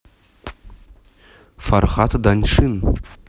фархад даньшин